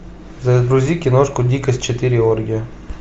загрузи киношку дикость четыре оргия